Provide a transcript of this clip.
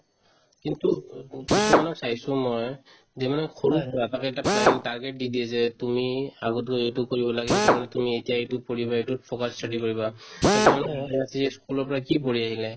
কিন্তু অ অ কিছুমানৰ চাইছো মই যে মানে সৰুৰ পৰা তাক এটা planning target দি দিয়ে যে তুমি আগতো এইটো কৰিব লাগে সেইটো কাৰণে তুমি এতিয়াই এইটোত পঢ়িবা এইটোত focus study কৰিবা আৰু কিছুমানক school ৰ পৰা কি পঢ়ি আহিলে